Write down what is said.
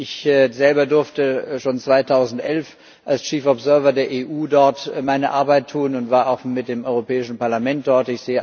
Ich selber durfte schon 2011 als Chief Observer der EU dort meine Arbeit tun und war auch mit dem Europäischen Parlament dort.